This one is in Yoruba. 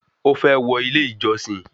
Ó fẹ́ wọ ilé ìjọsìn